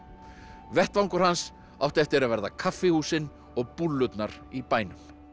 vettvangur hans átti eftir að verða kaffihúsin og í bænum